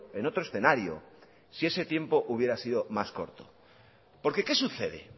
en otro escenario si ese tiempo hubiera sido más corto porque qué sucede